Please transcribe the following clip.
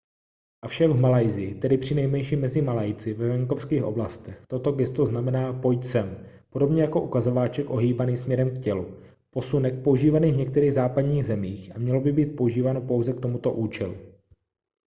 avšak v malajsii tedy přinejmenším mezi malajci ve venkovských oblastech toto gesto znamená pojď sem podobně jako ukazováček ohýbaný směrem k tělu posunek používaný v některých západních zemích a mělo by být používáno pouze k tomuto účelu